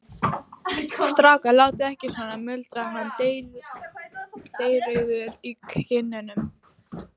Strákar, látið ekki svona muldraði hann dreyrrauður í kinnum.